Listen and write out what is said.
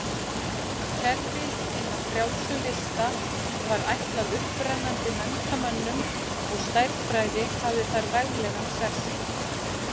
Kerfi hinna frjálsu lista var ætlað upprennandi menntamönnum og stærðfræði hafði þar veglegan sess.